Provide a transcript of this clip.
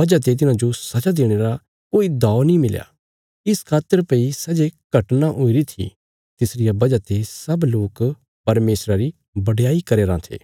वजह ते तिन्हांजो सजा देणे रा कोई दाव नीं मिलया इस खातर भई सै जे घटना हुईरी थी तिसरिया वजह ते सब लोक परमेशरा री बडयाई करया राँ थे